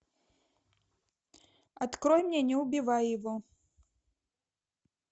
открой мне не убивай его